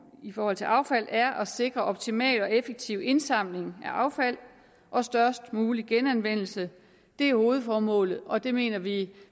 i forhold til affald er at sikre optimal og effektiv indsamling af affald og størst mulig genanvendelse det er hovedformålet og det mener vi